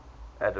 adam